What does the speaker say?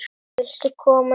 Viltu koma í?